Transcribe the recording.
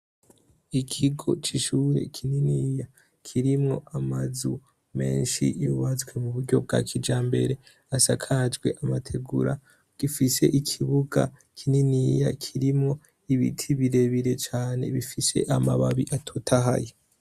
Ikigo c'ishure kininiya kirimwo amazu menshi yubatswe mu buryo bwa kija mbere asakajwe amategura gifise ikibuga kininiya kirimwo ibiti birebire cane bifise amababi atotahaye